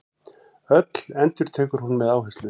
Öll, endurtekur hún með áherslu.